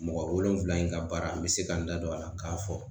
Mɔgɔ wolonfila in ka baara n bɛ se ka n da don a la k'a fɔ.